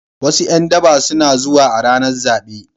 Wasu ’yan daba suna zuwa a ranar zabe.